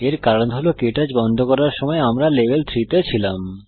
এর কারণ হল কে টচ বন্ধ করার সময় আমরা লেভেল 3 তে ছিলাম